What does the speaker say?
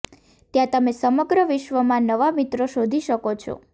ત્યાં તમે સમગ્ર વિશ્વમાં નવા મિત્રો શોધી શકો છો